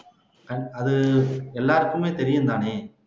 அ அது எல்லாருக்குமே தெரியும் தானே